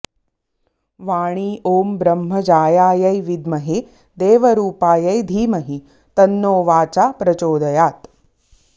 वाणी ॐ ब्रह्मजायायै विद्महे देवरूपायै धीमहि तन्नो वाचा प्रचोदयात्